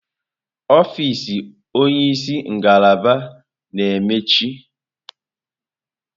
Ọfịz onye isi ngalaba na-emechi.